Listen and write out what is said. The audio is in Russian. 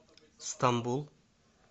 стамбул